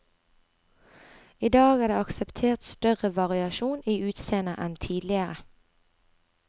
I dag er det akseptert større variasjon i utseendet enn tidligere.